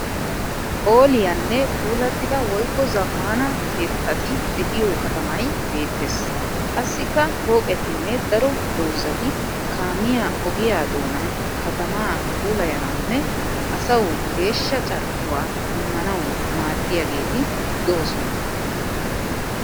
Phooliyaanne puulattida woyikko zammaana keettatide'yo katamay beettes. Qassikka pooqetinne daro dozzati kaamiya ogiya doonan katamaa puulayanawunne asawu geeshsha carkkuwa immanawu maaddiyageeti doosona.